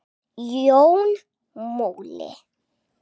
Jón Múli